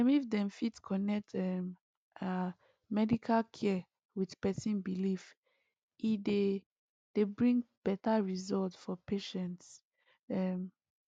ehm if dem fit connect um ah medical care with person belief e dey dey bring better result for patient um